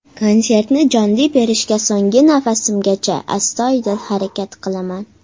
Konsertni jonli berishga so‘nggi nafasimgacha, astoydil harakat qilaman.